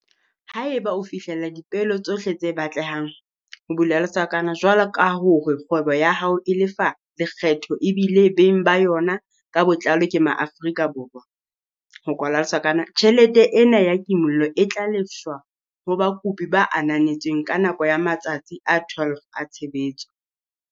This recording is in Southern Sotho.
Haeba o fihlella dipeelo tsohle tse batlehang, jwaloka hore kgwebo ya hao e lefa lekgetho ebile beng ba yona ka botlalo ke Maafrika Borwa, tjhelete ena ya kimollo e tla lefshwa ho bakopi ba ananetsweng ka nako ya matsatsi a 12 a tshebetso.